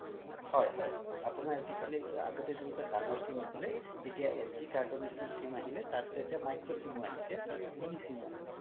হয় হয় আপোনাৰ আজিকালি আগতে জেনেকুৱা ডাঙৰ sim আছিলে এতিয়া sd card ৰ নিচিনা sim আহিলে এতিয়া micro simয়ো আহিছে তাৰ পিছত মিনি simয়ো আহিছে